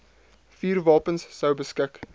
vuurwapens sou beskik